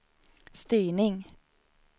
styrning